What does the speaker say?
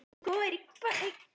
Villan hefur nú verið löguð